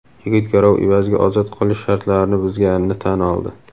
yigit garov evaziga ozod qilish shartlarini buzganini tan oldi.